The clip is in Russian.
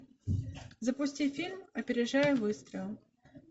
запусти фильм опережая выстрел